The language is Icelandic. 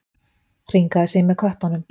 Hringaði sig með köttunum.